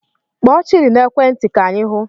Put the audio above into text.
Kpọọ Chidi n'ekwe nti ka anyi hụ